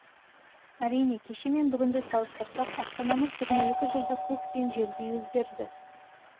әрине кеше мен бүгінді салыстырсақ астанамыз жиырма екі жылда көк пен жердей өзгерді